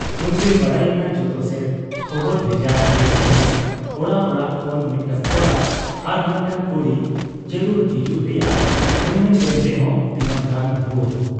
ᱩᱱᱨᱮ ᱵᱟᱰᱟᱭ ᱮᱱᱟ ᱡᱚᱛᱚ ᱥᱮᱫ ᱠᱷᱚᱵᱚᱨ ᱵᱷᱮᱡᱟ ᱞᱮᱱ ᱨᱮᱦᱚᱸ ᱚᱲᱟᱜ ᱚᱲᱟᱜ ᱠᱷᱚᱱ ᱢᱤᱫᱴᱟᱹᱝ ᱠᱚᱲᱟ ᱟᱨ ᱢᱤᱫᱴᱟᱹᱝ ᱠᱩᱲᱤ ᱡᱟᱹᱨᱩᱲ ᱦᱤᱡᱩᱜ ᱨᱮᱭᱟᱜ ᱢᱮᱢᱱᱞᱮᱱ ᱨᱮᱦᱚᱸ ᱛᱤᱱᱟᱹᱜ ᱜᱟᱱ ᱵᱷᱩᱭᱟᱺ,